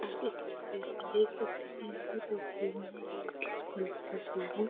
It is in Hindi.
आप इस तस्वीर में देख सकते हैं ये तस्वीर में किस कोल की तस्वीर है।